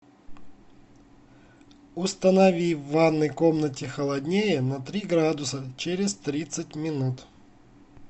установи в ванной комнате холоднее на три градуса через тридцать минут